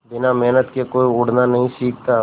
बिना मेहनत के कोई उड़ना नहीं सीखता